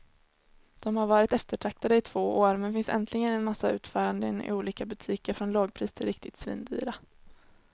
De har varit eftertraktade i två år, men finns äntligen i en massa utföranden i olika butiker från lågpris till riktigt svindyra.